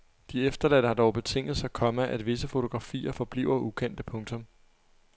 De efterladte har dog betinget sig, komma at visse fotografier forbliver ukendte. punktum